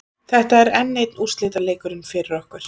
Þetta er enn einn úrslitaleikurinn fyrir okkur.